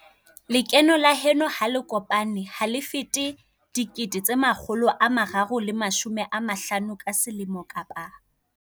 Lekeno la heno ha le kopane ha le fete R350 000 ka selemo kapa